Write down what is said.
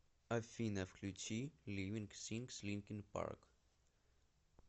афина включи ливинг сингс линкин парк